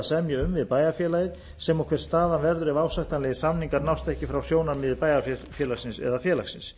semja um við bæjarfélagið sem og hver staðan verður ef ásættanlegir samningar nást ekki frá sjónarmiði bæjarfélagsins eða félagsins